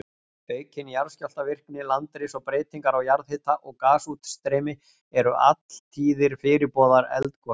Aukin jarðskjálftavirkni, landris og breytingar á jarðhita og gasútstreymi eru alltíðir fyrirboðar eldgosa.